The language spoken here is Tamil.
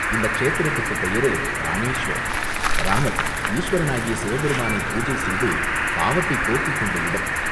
இந்த க்ஷேத்திரத்துக்குப் பெயரே இராமேச்சுவரம், இராமர் ஈசுவரனாகிய சிவபெருமானைப் பூஜை செய்து பாவத்தைப் போக்கிக் கொண்ட இடம்.